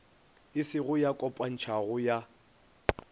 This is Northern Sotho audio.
e se ya kopantšhwago ya